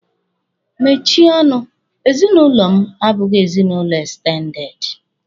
Mechie ọnụ! ezinụlọ m abụghị ezinụlọ ekstendede.